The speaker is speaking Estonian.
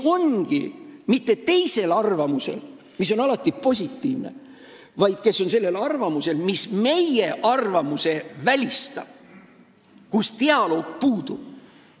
Nad ei ole mitte teisel arvamusel, mis oleks positiivne, vaid nad on sellisel arvamusel, mis meie arvamuse välistab, st dialoog puudub.